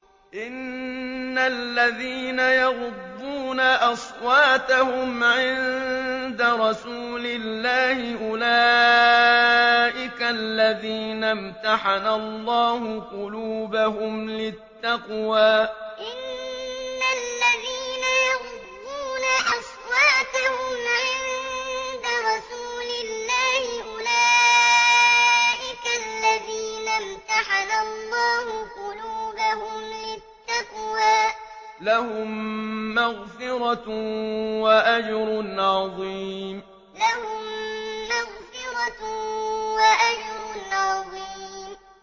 إِنَّ الَّذِينَ يَغُضُّونَ أَصْوَاتَهُمْ عِندَ رَسُولِ اللَّهِ أُولَٰئِكَ الَّذِينَ امْتَحَنَ اللَّهُ قُلُوبَهُمْ لِلتَّقْوَىٰ ۚ لَهُم مَّغْفِرَةٌ وَأَجْرٌ عَظِيمٌ إِنَّ الَّذِينَ يَغُضُّونَ أَصْوَاتَهُمْ عِندَ رَسُولِ اللَّهِ أُولَٰئِكَ الَّذِينَ امْتَحَنَ اللَّهُ قُلُوبَهُمْ لِلتَّقْوَىٰ ۚ لَهُم مَّغْفِرَةٌ وَأَجْرٌ عَظِيمٌ